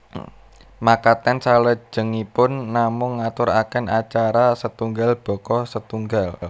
Makaten salajengipun namung ngaturaken acara setunggal baka setunggal